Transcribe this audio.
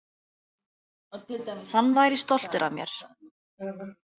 Hann væri stoltur af mér.